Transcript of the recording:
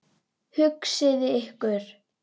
Hugsið ykkur!